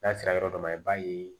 N'a sera yɔrɔ dɔ ma i b'a ye